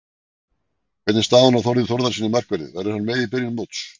Hvernig er staðan á Þórði Þórðarsyni markverði, verður hann með í byrjun móts?